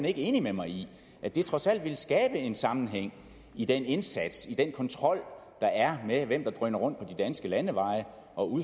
ikke enig med mig i at det trods alt ville skabe en sammenhæng i den indsats i den kontrol der er med hvem der drøner rundt på de danske landeveje og